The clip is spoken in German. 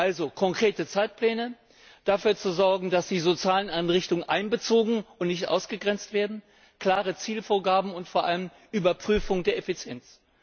Also konkrete Zeitpläne, dafür sorgen, dass die sozialen Einrichtungen einbezogen und nicht ausgegrenzt werden, klare Zielvorgaben und vor allem Überprüfung der Effizienz.